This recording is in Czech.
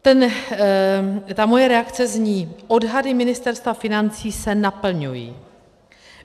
Ta moje reakce zní: Odhady Ministerstva financí se naplňují.